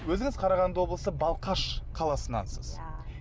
өзіңіз қарағанды облысы балқаш қаласынансыз иә